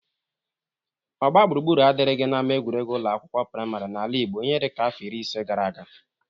Ogbagbụrugbụru adịrighi n'ama egwuregwu ụlọ akwụkwọ prịmarị n'ala Igbo ihe dịka afọ iri ise gara aga.